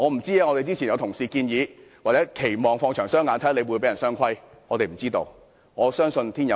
正如之前有同事建議，我們可以放長雙眼，看看他會不會被人"雙規"，我相信天有眼。